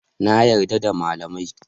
Na yarda da malamai